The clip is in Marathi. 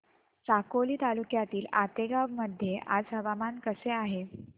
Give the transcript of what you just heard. साकोली तालुक्यातील आतेगाव मध्ये आज हवामान कसे आहे